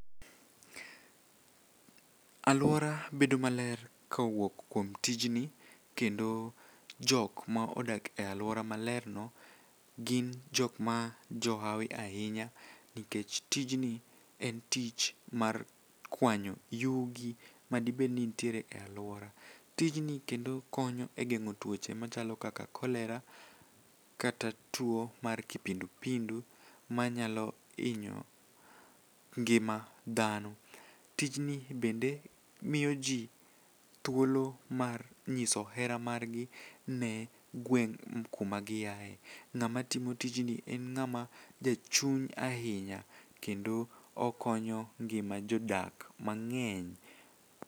Alwora bedo maler kowuok kuom tijni kendo jokma odak e alwora malerno gin jokma jo hawi ahinya nikech tijni en tich mar kwanyo yugi madibedni nitiere e alwora. Tijni kendo konyo e geng'o tuoche machalo kaka kolera kata tuo mar kipindipindu manyalo hinyo ngima dhano. Tijni bende miyo ji thuolo mar nyiso hera margi ne gweng' kuma giaye. Ng'ama timo tijni en ng'ama jachuny ahinya kendo okonyo ngima jodak mang'eny.